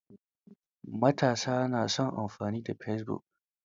Matasa na son amfani da fesibuk.